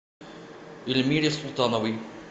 ильмире султановой